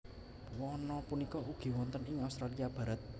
Wana punika ugi wonten ing Australia Barat